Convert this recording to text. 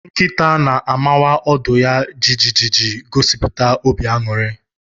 Nkịta na-amawa ọdụ ya jijiji iji gosipụta obi aṅụrị